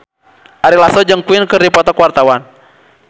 Ari Lasso jeung Queen keur dipoto ku wartawan